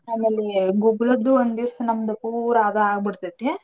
ಆಮೇಲೆ ಗುಗ್ಗಳದ್ದು ಒಂದಿವ್ಸ ನಮ್ದು ಪೂರಾ ಅದ ಆ ಬಿಡ್ತೈತೀ.